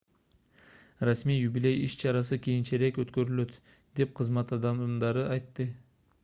расмий юбилей иш-чарасы кийинчерээк өткөрүлөт деп кызмат адамдары айтты